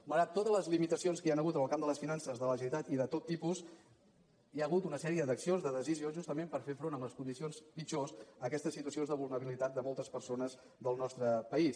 malgrat totes les limitacions que hi han hagut en el camp de les finances de la generalitat i de tot tipus hi ha hagut una sèrie d’accions de decisions justament per fer front a les condicions pitjors a aquestes situacions de vulnerabilitat de moltes persones del nostre país